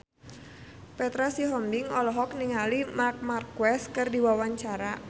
Petra Sihombing olohok ningali Marc Marquez keur diwawancara